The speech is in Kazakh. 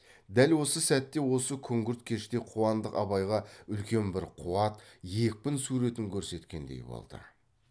дәл осы сәтте осы күңгірт кеште қуандық абайға үлкен бір қуат екпін суретін көрсеткендей болды